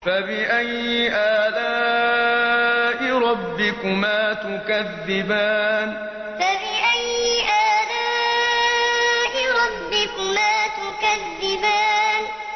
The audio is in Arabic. فَبِأَيِّ آلَاءِ رَبِّكُمَا تُكَذِّبَانِ فَبِأَيِّ آلَاءِ رَبِّكُمَا تُكَذِّبَانِ